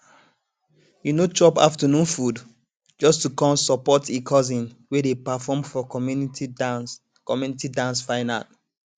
e no chop afternoon food just to come support e cousin wey dey perform for community dance community dance final